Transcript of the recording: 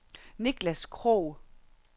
Niklas Krog